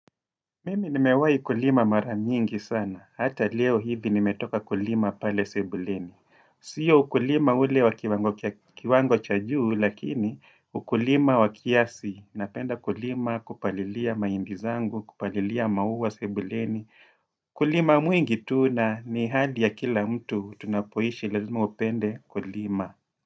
Mimi nimewai kulima maramingi sana. Hata leo hivi nimetoka kulima pale sebuleni. Sio ukulima ule wa kiwango cha juu, lakini ukulima wa kiasi. Napenda kulima kupalilia mahindi zangu, kupalilia maua sebuleni. Kulima mwingi tu na ni hali ya kila mtu tunapoishi lazima upende kulima.